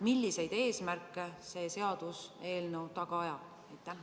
Milliseid eesmärke see seaduseelnõu taga ajab?